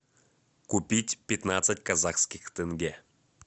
купить пятнадцать казахских тенге